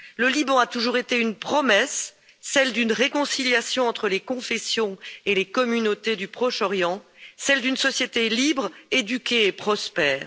Le Liban a toujours été une promesse celle d'une réconciliation entre les confessions et les communautés du Proche Orient, celle d'une société libre, éduquée et prospère.